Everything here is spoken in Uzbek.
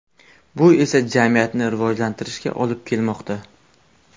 Bu esa jamiyatni rivojlantirishga olib kelmoqda.